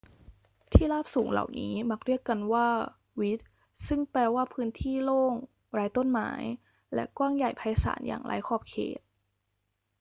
ที่ราบสูงเหล่านี้มักเรียกกันว่า vidde ซึ่งแปลว่าพื้นที่โล่ง ไร้ต้นไม้ และกว้างใหญ่ไพศาลอย่างไร้ขอบเขต